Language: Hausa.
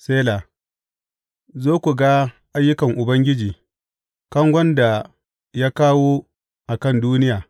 Sela Zo ku ga ayyukan Ubangiji, kangon da ya kawo a kan duniya.